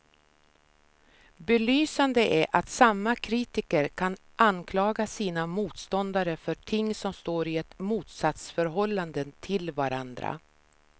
Belysande är att samma kritiker kan anklaga sina motståndare för ting som står i ett motsatsförhållande till varandra.